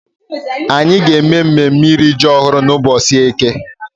Anyị ga-eme mmemme iri ji ọhụrụ n'ụbọchị eke.